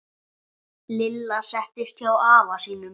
Lilla settist hjá afa sínum.